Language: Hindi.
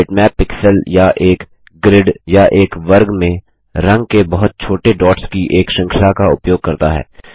बिटमैप पिक्सल या एक ग्रिड या एक वर्ग में रंग के बहुत छोटे डॉट्स की एक श्रृंखला का उपयोग करता है